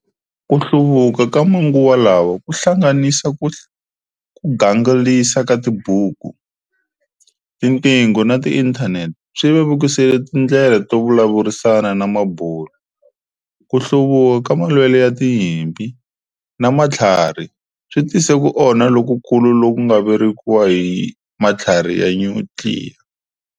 Kuhluvuka ka manguva lawa kuhlanganisa kuganglisa ka tibuku, tinqingo na inthaneti, swi vevukise tindlela to vulavurisana namabulu. Kuhluvuka ka malwelo yatinyipi, namathlarhi switise kuonha lokukulu lokuvangeriwaka hi mathlarhi yanyutliya.